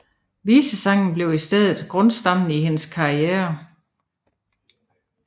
Visesangen blev i stedet grundstammen i hendes karriere